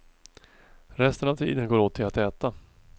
Resten av tiden går åt till att äta.